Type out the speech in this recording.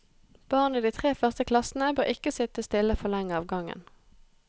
Barn i de tre første klassene bør ikke sitte stille for lenge av gangen.